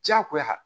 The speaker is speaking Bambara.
Diyagoya